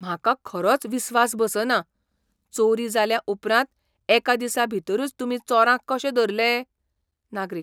म्हाका खरोच विस्वास बसना. चोरी जाल्या उपरांत एका दिसा भितरूच तुमी चोरांक कशें धरलें? नागरीक